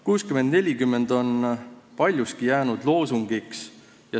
60 : 40 on paljuski jäänud loosungiks.